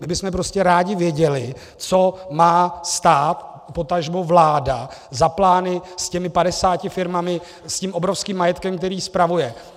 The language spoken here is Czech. My bychom prostě rádi věděli, co má stát, potažmo vláda za plány s těmi 50 firmami, s tím obrovským majetkem, který spravuje.